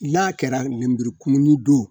i y'a kɛra lenburukumuni don